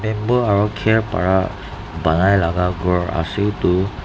bamboo aro kher para banai laga ghor ase itu.